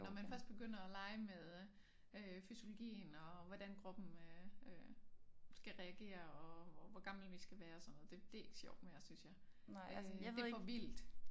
Når man først begynder at lege med øh fysiologien og hvordan kroppen øh øh skal reagere og hvor gamle vi skal være sådan noget det det ikke sjovt mere synes jeg øh det for vildt